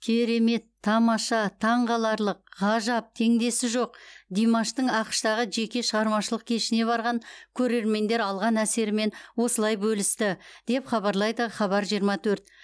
керемет тамаша таңқаларлық ғажап теңдесі жоқ димаштың ақш тағы жеке шығармашылық кешіне барған көрермендер алған әсерімен осылай бөлісті деп хабарлайды хабар жиырма төрт